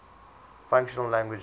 functional languages